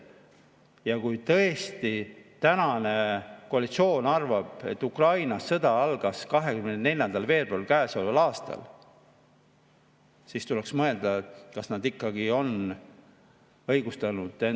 Ja kui tõesti tänane koalitsioon arvab, et Ukrainas algas sõda 24. veebruaril käesoleval aastal, siis tuleks mõelda, kas nende siin saalis istumine on õigustatud.